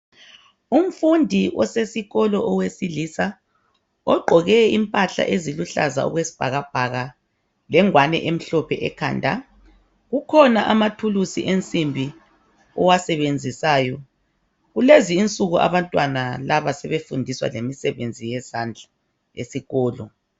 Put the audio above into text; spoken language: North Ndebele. Umfundi osesikolo owesilisa ogqoke imphlala eziluhlaza okwesibhakabhaka, lengane umhlophe ekhanda, kukhona amathulusi ensimbi owasebenzisayo. Kulezi insuku abantwana laba sebefundiswa ngemisebenzi yezandla esikolo.